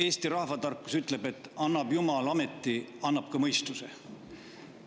Eesti rahvatarkus ütleb, et annab jumal ameti, annab ka mõistuse.